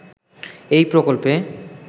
এই প্রকল্পে